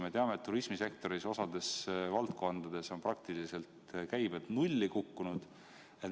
Me ju teame, et turismisektoris on osas valdkondades käibed praktiliselt nulli kukkunud.